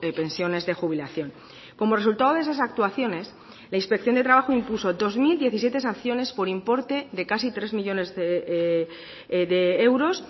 pensiones de jubilación como resultado de esas actuaciones la inspección de trabajo impuso dos mil diecisiete sanciones por importe de casi tres millónes de euros